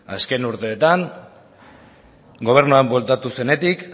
azken urteetan gobernuan bueltatu zenetik